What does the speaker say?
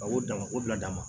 A ko dama o bila dama